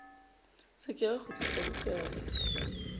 se ke wa kgutlisa bukana